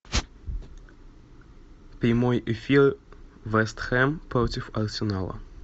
прямой эфир вест хэм против арсенала